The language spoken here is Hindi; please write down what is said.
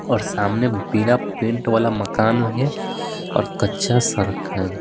और सामने बिना पेंट वाला मकान है और कच्चा सड़क है।